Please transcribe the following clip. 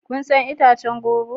Kun san itacen goro?